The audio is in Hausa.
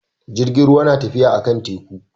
Jirgin ruwa na tafiya a kan teku